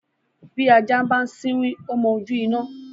bi ajá ń bá siwin o mọ ojú iná